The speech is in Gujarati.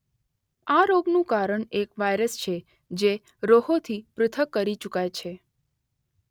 આ રોગ નું કારણ એક વાઇરસ છે જે રોહોં થી પૃથક્ કરી ચુકાય છે.